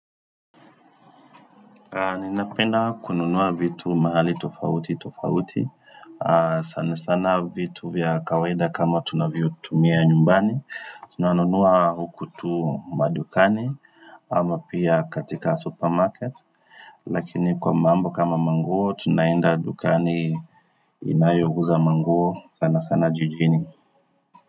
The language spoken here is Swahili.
Ninapenda kununua vitu mahali tofauti tofauti, sana sana vitu vya kawaida kama tunavyo tumia nyumbani, tunanunua hukutu madukani ama pia katika supermarket, lakini kwa mambo kama manguo tunaenda dukani inayouza manguo sana sana jijini.